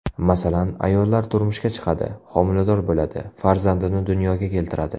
Masalan, ayollar turmushga chiqadi, homilador bo‘ladi, farzandini dunyoga keltiradi.